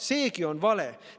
Seegi on vale!